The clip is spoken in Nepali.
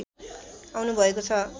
आउनु भएको छ